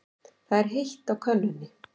Það er heitt á könnunni.